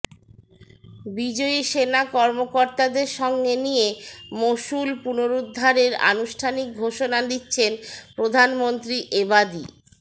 বিজয়ী সেনা কর্মকর্তাদের সঙ্গে নিয়ে মসুল পুনরুদ্ধারের আনুষ্ঠানিক ঘোষণা দিচ্ছেন প্রধানমন্ত্রী এবাদি